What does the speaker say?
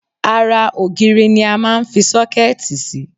Ara ògiri ni a máa ń fi sọ́kẹ́ẹ̀tì sí.